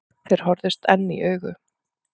Þeir horfðust enn í augu.